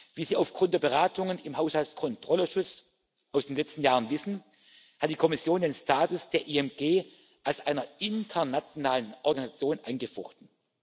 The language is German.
Wie Sie aufgrund der Beratungen im Haushaltskontrollausschuss aus den letzten Jahren wissen, hat die Kommission den Status der IMG als einer internationalen Organisation angefochten.